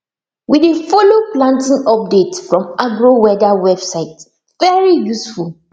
we dey follow planting update from agroweather website very useful